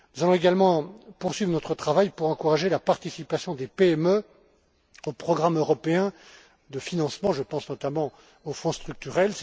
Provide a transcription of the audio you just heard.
Nous allons également poursuivre notre travail pour encourager la participation des PME aux programmes européens de financement, et je pense notamment aux Fonds structurels.